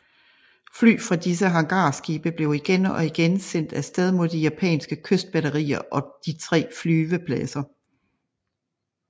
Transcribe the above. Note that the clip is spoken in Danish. Fly fra disse hangarskibe blev igen og igen sendt af sted mod de japanske kystbatterier og de tre flyvepladser